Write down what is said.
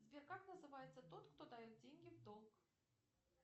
сбер как называется тот кто дает деньги в долг